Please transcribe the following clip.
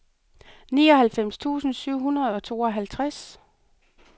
nioghalvfems tusind syv hundrede og tooghalvtreds